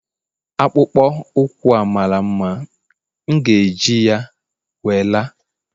akpụkpọ ụkwụ a mara mma, m ga-eji ya wee la